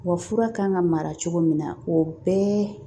Wa fura kan ka mara cogo min na o bɛɛ